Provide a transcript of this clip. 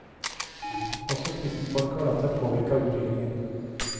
Også kristenfolket har latt seg påvirke av utviklingen.